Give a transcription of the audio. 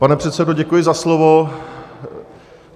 Pane předsedo, děkuji za slovo.